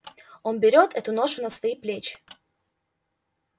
он берёт эту ношу на свои плечи